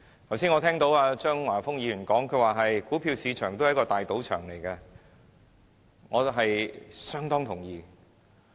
剛才，我聽見張華峰議員把股票市場說成是一個大賭場，對此，我相當同意。